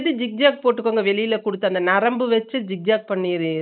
திவ்யாக்கு போட்டுக்கோ வெளில குடுத்து அந்த நரம்ப வெச்சு திவ்யாக்கு பண்ணிரு